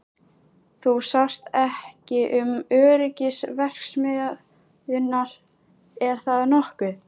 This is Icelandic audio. Þú sást ekki um öryggismál verksmiðjunnar, er það nokkuð?